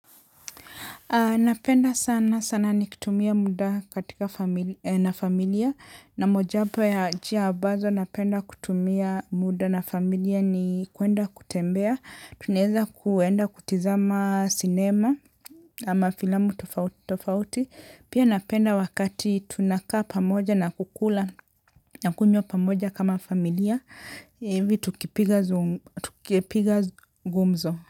Napenda sana sana nikutumia muda katika na familia. Na mojawapo ya njia ambazo napenda kutumia muda na familia ni kuenda kutembea. Tunaweza kuenda kutizama sinema ama filamu tofauti tofauti. Pia napenda wakati tunakaa pamoja na kukula na kunywa pamoja kama familia. Hivi tukipiga gumzo.